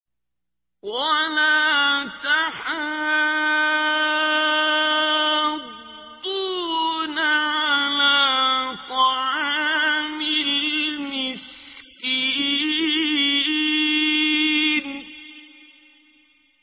وَلَا تَحَاضُّونَ عَلَىٰ طَعَامِ الْمِسْكِينِ